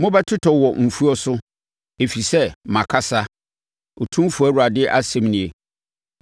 Mobɛtotɔ wɔ mfuo so, ɛfiri sɛ makasa, Otumfoɔ Awurade asɛm nie.